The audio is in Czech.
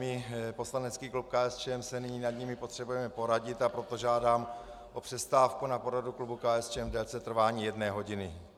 My, poslanecký klub KSČM, se nyní nad nimi potřebujeme poradit, a proto žádám o přestávku na poradu klubu KSČM v délce trvání jedné hodiny.